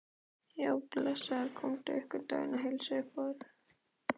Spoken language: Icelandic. Já, blessaður komdu einhvern daginn og heilsaðu upp á þær.